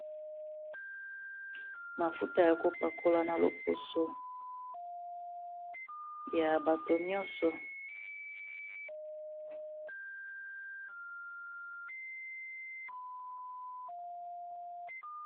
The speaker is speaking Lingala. mafuta ya kopakola na loposo ya bato nyonso